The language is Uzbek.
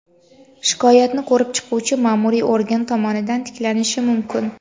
shikoyatni ko‘rib chiquvchi maʼmuriy organ tomonidan tiklanishi mumkin.